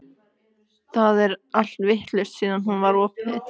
Það er allt vitlaust síðan hún var opnuð.